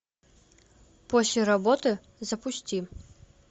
после работы запусти